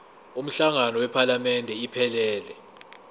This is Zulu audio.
umhlangano wephalamende iphelele